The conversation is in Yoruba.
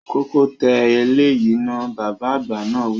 Kọ́kọ́ tẹ eléyìí náà, Bàbá àgbà náà wi